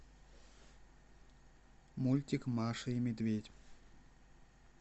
мультик маша и медведь